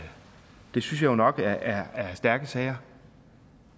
jo nok er stærke sager